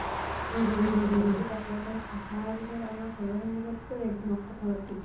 আহাৰ পিছ্ত আমাৰ ঘৰৰ সন্মুহ্খতো এক্ধম্ক কথা পাতিল